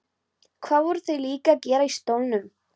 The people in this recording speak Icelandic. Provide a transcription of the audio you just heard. Hvað voru þau líka að gera í stólnum?